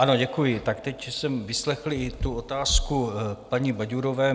Ano, děkuji, tak teď jsem vyslechl i otázku paní Baďurové.